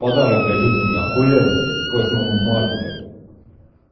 подарок блять утренний ахуенный блять к восьмому марта блять